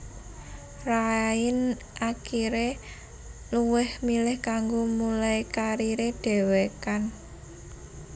Rain akiré luwih milih kanggo mulai kariré dhewekan